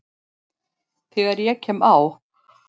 Þegar ég kem á